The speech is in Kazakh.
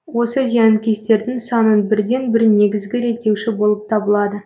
осы зиянкестердің санын бірден бір негізгі реттеуші болып табылады